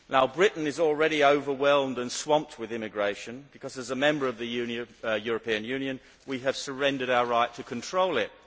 Britain is already overwhelmed and swamped with immigration because, as a member of the European Union, we have surrendered our right to control it.